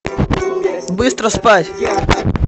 быстро спать